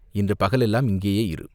இன்று பகலெல்லாம் இங்கேயே இரு!